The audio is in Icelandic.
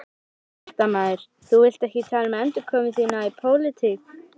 Fréttamaður: Þú vilt ekki tala um endurkomu þína í pólitík?